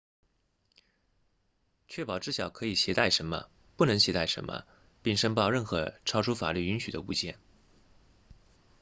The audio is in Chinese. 确保知晓可以携带什么不能携带什么并申报任何超出法律允许的物件